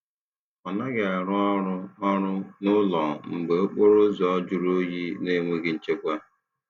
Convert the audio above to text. Ọ naghị arụ ọrụ ọrụ n'ụlọ mgbe okporo ụzọ juru oyi na enweghị nchekwa.